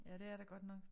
Ja det er der godt nok